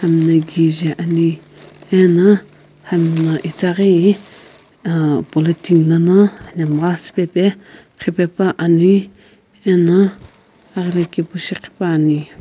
liikhi jaeani ano hamna itaghi politen lono anamgha siipaepa ghapani ano akrikepu shighipani.